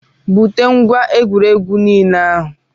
Bute ngwá egwuregwu nile ahụ